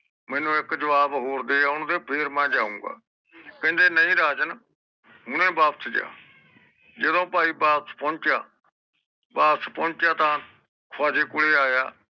ਮੈਨੂੰ ਇਕ ਜਵਾਬ ਹੋਰ ਦੇ ਆਉਗੇ ਫੇਰ ਮੈਂ ਜਾਊਗਾ ਕਹਿੰਦੇ ਨਹੀਂ ਰਾਜਨ ਹੁਣੇ ਵਾਪਸ ਜਾ ਜਿਦੋ ਭਾਈ ਵਾਪਸ ਪਹੁੰਚਿਆ ਵਾਪਸ ਪਹੁੰਚਿਆ ਤਾ ਖਵਾਜੇ ਕੋਲੇ ਆਇਆ